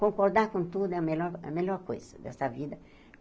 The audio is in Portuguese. Concordar com tudo é a melhor a melhor coisa dessa vida.